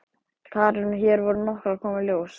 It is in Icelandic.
Karen: Og hér voru nokkrar að koma í ljós?